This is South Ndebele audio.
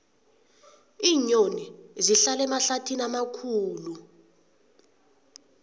iinyoni zihlala emahlathini amakhulu